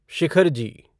Shikharji